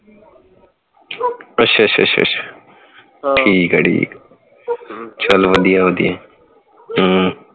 ਅੱਛਾ ਅੱਛਾ ਅੱਛਾ ਅੱਛ ਠੀਕ ਹੈ ਠੀਕ ਹੈ ਚਲ ਵਧੀਆ ਵਧੀਆ ਹਮ